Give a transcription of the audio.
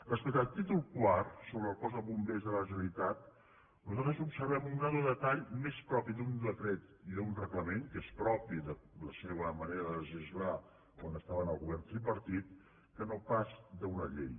respecte al títol quart sobre el cos de bombers de la generalitat nosaltres observem un grau de detall més propi d’un decret i d’un reglament que és propi de la seva manera de legislar quan estaven al govern tripar·tit que no pas d’una llei